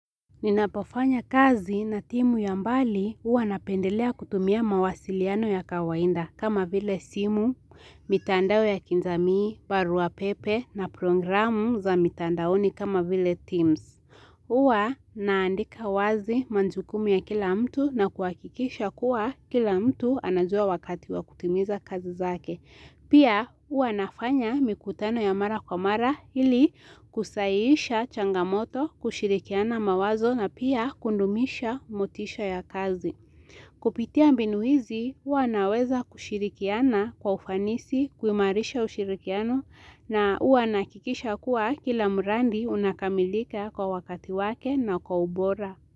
Ninapofanya kazi na timu ya mbali huwa napendelea kutumia mawasiliano ya kawainda kama vile simu, mitandao ya kijamii, barua pepe na programu za mitandaoni kama vile teams. Huwa naandika wazi manjukumu ya kila mtu na kuakikisha kuwa kila mtu anajua wakati wa kutimiza kazi zake. Pia ua nafanya mikutano ya mara kwa mara ili kusahihisha changamoto kushirikiana mawazo na pia kundumisha motisha ya kazi. Kupitia mbinu hizi huwa naweza kushirikiana kwa ufanisi kuimarisha ushirikiano na huwa nahakikisha kuwa kila muradi unakamilika kwa wakati wake na kwa ubora.